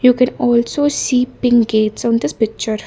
we can also see pink gates on this picture.